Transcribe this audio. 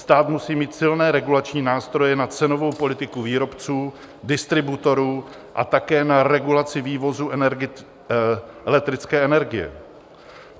Stát musí mít silné regulační nástroje na cenovou politiku výrobců, distributorů a také na regulaci vývozu elektrické energie.